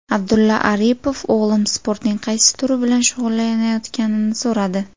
Abdulla Aripov o‘g‘lim sportning qaysi turi bilan shug‘ullanayotganini so‘radi.